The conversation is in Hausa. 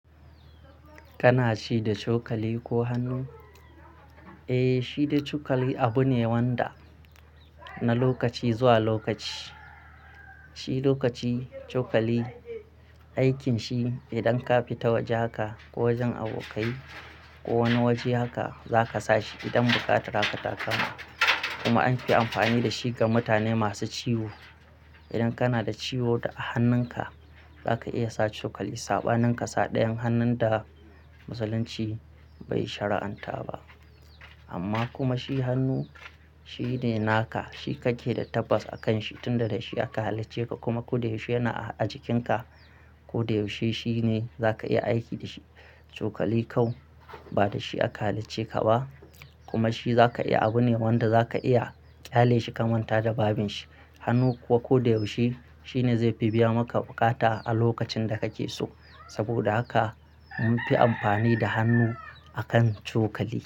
Kana ci da cokali ko hannu? Eh, ci da cokali abune wanda na lokaci zuwa lokaci. Ci da cokali aikin shi idan ka fi ta wajen haka ko wajen abokai ko wani wajen haka zaka sa shi idan bukata rakata ka. Kuma anfi amfani dashi ga mutane masu ciwo. Idan kana da ciwo a hannunka zaka iya sa cokali, saɓa nan kasa ɗayan hannun da musulunci bai shari'anta ba. Amma kuma shi hannu shine naka, shi kake da tabbas a kanshi tunda dashi aka halicceka kuma koda yaushe yana a jikinka. Koda yaushe shine zaka iya aiki da shi. Cokali kam, ba dashi aka halicce ka ba kuma shi zaka iya abu ne wanda zaka iya ƙyale shi kamanta da babin shi. Hannu kuwa koda yaushe shine zai fi biya maka buƙata a lokacin da kake so. Saboda haka mun fi amfani da hannu akan cokali.